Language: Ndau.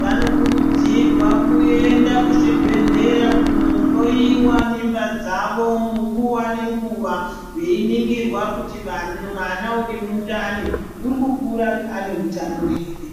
vanokurudzirwa kuenda kuzvibhedhlera kuhloyiwa mimba dzavo munguva nenguva veiningirwa kuti mwana urimundani urikukura ane hutano here.